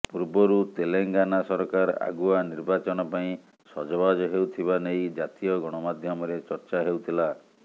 ପୂର୍ବରୁ ତେଲେଙ୍ଗାନା ସରକାର ଆଗୁଆ ନିର୍ବାଚନ ପାଇଁ ସଜବାଜ ହେଉଥିବା ନେଇ ଜାତୀୟ ଗଣମାଧ୍ୟମରେ ଚର୍ଚ୍ଚା ହେଉଥିଲା